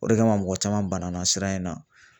O de kama mɔgɔ caman bana na sira in na